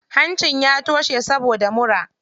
Hancin ya toshe saboda mura.